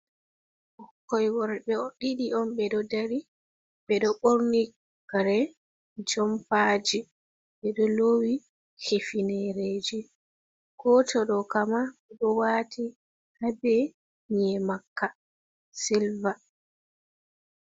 Ɓikkoi worɓe on ɗiɗi ɓeɗo dari, ɓeɗo ɓorni kare jompaji, ɓe ɗo lowi hifinereji goto ɗokamma ɗo wati habe nye makka siliva.